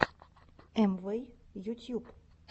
амвэй ютьюб